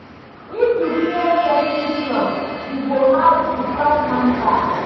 If you break person trust, e go hard to patch am back.